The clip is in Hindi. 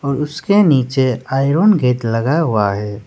उसके नीचे आयरन गेट लगा हुआ है।